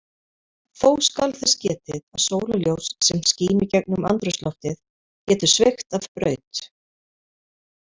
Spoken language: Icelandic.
Þó skal þess getið að sólarljós sem skín í gegnum andrúmsloftið getur sveigt af braut.